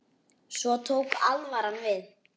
Svo tók alvaran við.